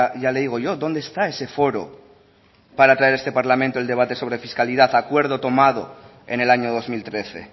ya le digo yo dónde está ese foro para traer a este parlamento el debate sobre fiscalidad acuerdo tomado en el año dos mil trece